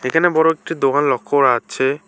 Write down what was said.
এখানে বড় একটা দোকান লক্ষ্য করা যাচ্ছে।